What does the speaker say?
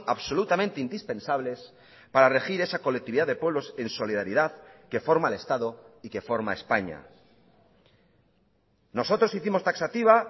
absolutamente indispensables para regir esa colectividad de pueblos en solidaridad que forma el estado y que forma españa nosotros hicimos taxativa